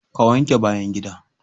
Ka wanke bayan gida.